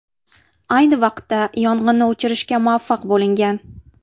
Ayni vaqtda yong‘inni o‘chirishga muvaffaq bo‘lingan.